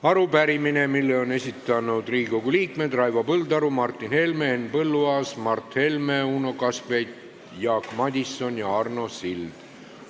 Arupärimine, mille on esitanud Riigikogu liikmed Raivo Põldaru, Martin Helme, Henn Põlluaas, Mart Helme, Uno Kaskpeit, Jaak Madison ja Arno Sild.